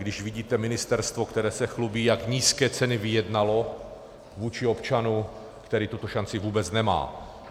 Když vidíte ministerstvo, které se chlubí, jak nízké ceny vyjednalo vůči občanu, který tuto šanci vůbec nemá.